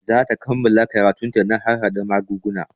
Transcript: Za ta kammala karatun ta na harhaɗa magunguna